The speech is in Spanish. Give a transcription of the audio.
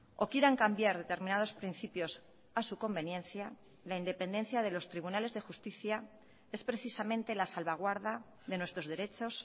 o quieran cambiar determinados principios a su conveniencia la independencia de los tribunales de justicia es precisamente la salvaguarda de nuestros derechos